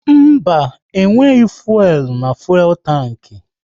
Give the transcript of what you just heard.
Mba, e nweghị fuelu na fuelu tanki